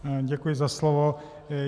Děkuji za slovo.